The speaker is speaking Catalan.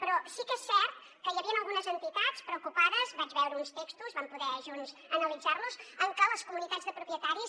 però sí que és cert que hi havien algunes entitats preocupades vaig veure uns textos vam poder junts analitzar los en què les comunitats de propietaris